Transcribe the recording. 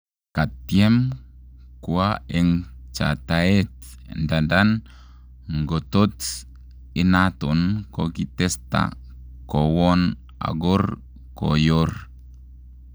Katiem kwa en chataet ndadan ngotot inaton kokitesta kowon ogor koyor